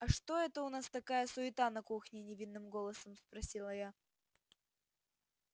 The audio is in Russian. а что это у нас такая суета на кухне невинным голосом спросила я